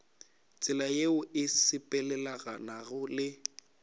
tsela yeo e sepelelanago le